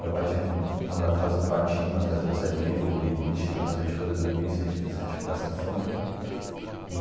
Meu pai tinha mandado fazer um quartinho atrás da pizzaria, com beliche, tudo mais, para a gente poder dormir, se a gente se a gente ficasse com sono.